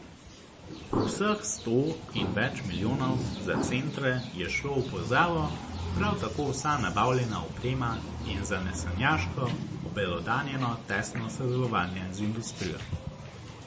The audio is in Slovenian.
Vseh sto in več milijonov za centre je šlo v pozabo, prav tako vsa nabavljena oprema in zanesenjaško obelodanjeno tesno sodelovanje z industrijo.